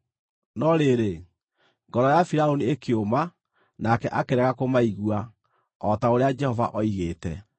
No rĩrĩ, ngoro ya Firaũni ĩkĩũma nake akĩrega kũmaigua, o ta ũrĩa Jehova oigĩte.